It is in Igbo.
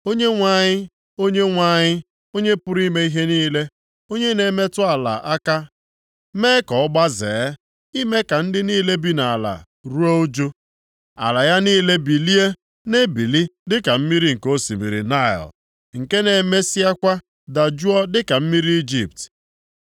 Onyenwe anyị, Onyenwe anyị, Onye pụrụ ime ihe niile, onye na-emetụ ala aka mee ka ọ gbazee, ime ka ndị niile bi nʼala ruo ụjụ; ala ya niile bilie na-ebili dịka mmiri nke osimiri Naịl, nke na-emesịakwa dajụọ dịka mmiri Ijipt.